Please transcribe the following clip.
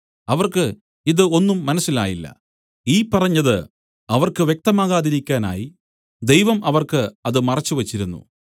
അവർക്ക് ഇതു ഒന്നും മനസ്സിലായില്ല ഈ പറഞ്ഞത് അവർക്ക് വ്യക്തമാകാതിരിക്കാനായി ദൈവം അവർക്ക് അത് മറച്ച് വെച്ചിരുന്നു